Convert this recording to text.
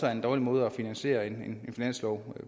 er en dårlig måde at finansiere en finanslov